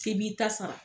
K'i b'i ta sara